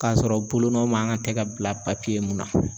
Kasɔrɔ bolonɔ man ka tɛ ka bila mun na.